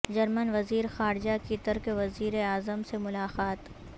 German وزیر خارجہ کی ترک وزیر اعظم سے ملاقات